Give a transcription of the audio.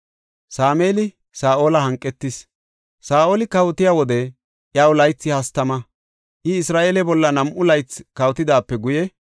Saa7oli kawotiya wode iyaw laythi hastama; I Isra7eele bolla nam7u laythi kawotidaape guye,